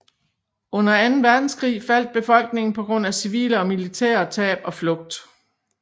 Under anden verdenskrig faldt befolkningen på grund af civile og militære tab og flugt